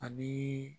Ani